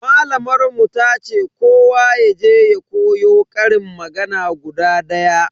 Malamar mu tace kowa yaje ya koyo ƙarin magana guda daya.